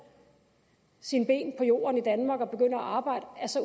sine ben på jorden i danmark og begynder at arbejde